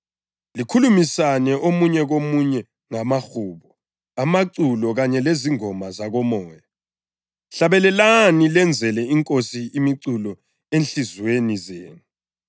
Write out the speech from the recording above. likhulumisana omunye komunye ngamahubo, amaculo kanye lezingoma zakoMoya. Hlabelani lenzele iNkosi imiculo ezinhliziyweni zenu